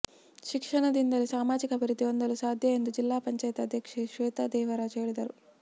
ಶಿಕ್ಷಣ ದಿಂದಲೇ ಸಾಮಾಜಿಕ ಅಭಿವೃದ್ಧಿ ಹೊಂದಲು ಸಾಧ್ಯ ಎಂದು ಜಿಲ್ಲಾ ಪಂಚಾಯಿತಿ ಅಧ್ಯಕ್ಷೆ ಶ್ವೇತಾದೇವರಾಜು ಹೇಳಿದರು